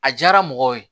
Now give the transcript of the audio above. A diyara mɔgɔw ye